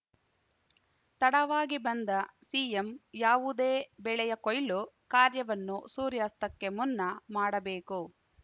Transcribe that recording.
ತಡವಾಗಿ ಬಂದ ಸಿಎಂ ಯಾವುದೇ ಬೆಳೆಯ ಕೊಯ್ಲು ಕಾರ್ಯವನ್ನು ಸೂರ್ಯಾಸ್ತಕ್ಕೆ ಮುನ್ನ ಮಾಡಬೇಕು